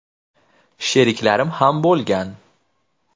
Sheriklarim ham bo‘lgan.